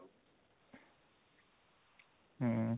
ହୁଁ